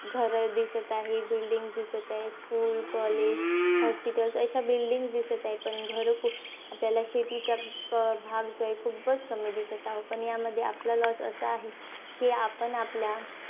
घरं दिसत आहे, building दिसत आहे. School college अशा building दिसत आहे पण घरं खूप. आपल्याला शेतीचा भाग जो आहे, खूपचं कमी दिसत आहो. पण यामध्ये आपला loss असा आहे की आपण आपल्या,